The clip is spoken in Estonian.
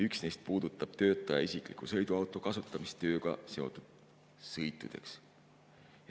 Üks neist puudutab töötaja isikliku sõiduauto kasutamist tööga seotud sõitudeks.